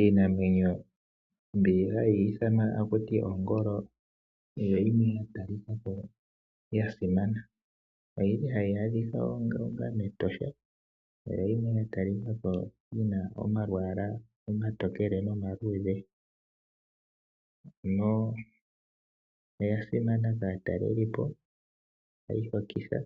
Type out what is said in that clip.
Iinamwenyo mbi hayi ithanwa ta ku ti ongolo oyo yimwe ya talika ko ya simana. Ohayi adhika mEtosha, oya talika ko yi na omayala omatokele nomaluudhe. Oya simana kaatalelipo, ohayi hokitha